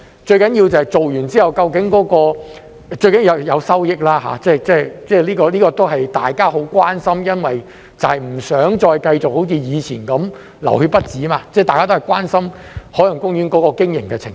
最重要的是做完之後，最重要的是有收益，這個都是大家很關心的，因為不想再繼續好像以前那樣"流血不止"，大家都關心海洋公園的經營情況。